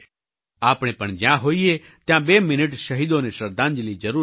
આપણે પણ જ્યાં હોઈએ ત્યાં બે મિનિટ શહીદોને શ્રદ્ધાંજલી જરૂર આપીએ